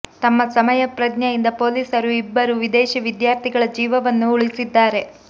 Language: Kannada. ತಮ್ಮ ಸಮಯ ಪ್ರಜ್ಞೆಯಿಂದ ಪೊಲೀಸರು ಇಬ್ಬರು ವಿದೇಶಿ ವಿದ್ಯಾರ್ಥಿಗಳ ಜೀವವನ್ನು ಉಳಿಸಿದ್ದಾರೆ